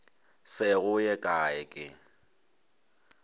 se go ye kae ke